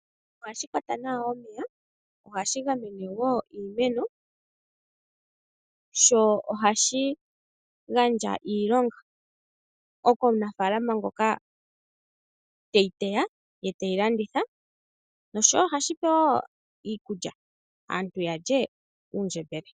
Ohashi kwata nawa omeya, ohashi gamene iimeno sho ohashi gandja iilonga komunafaalama ngoka teyi teya ye teyi landitha. Ohashi pe wo aantu iikulya, ya lye uundjembele.